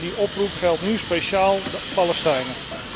Die oproep geldt nu speciaal voor de Palestijnen.